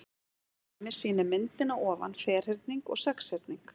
Til dæmis sýnir myndin að ofan ferhyrning og sexhyrning.